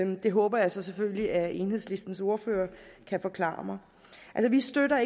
det håber jeg så selvfølgelig at enhedslistens ordfører kan forklare for mig vi støtter